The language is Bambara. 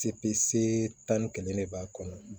Cp se tan ni kelen de b'a kɔnɔ